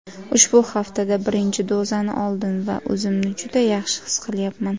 Ushbu haftada birinchi dozani oldim va o‘zimni juda yaxshi his qilyapman.